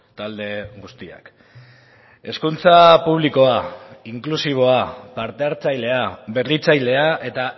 talde guztiak hezkuntza publikoa inklusiboa parte hartzailea berritzailea eta